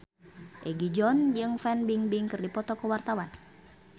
Egi John jeung Fan Bingbing keur dipoto ku wartawan